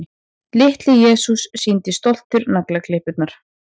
Litli-Jesús sýndi stoltur naglaklippurnar.